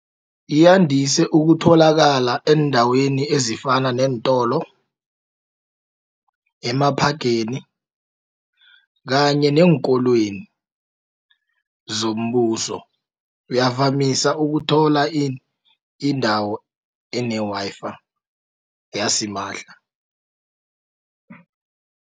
Yandise ukutholakala eendaweni ezifana neentolo, emaphageni kanye neenkolweni zombuso uyavamisa ukuthola indawo ene-Wi-Fi yasimahla.